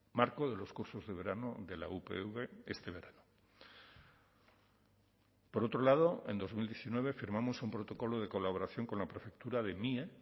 marco de los cursos de verano de la upv este verano por otro lado en dos mil diecinueve firmamos un protocolo de colaboración con la prefectura de mie